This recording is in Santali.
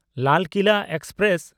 ᱞᱟᱞ ᱠᱤᱞᱟ ᱮᱠᱥᱯᱨᱮᱥ